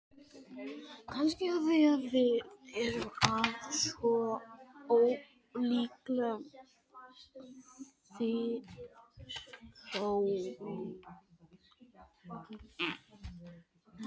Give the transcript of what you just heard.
Kannski af því við erum af svo ólíkum þjóðfélagsstigum.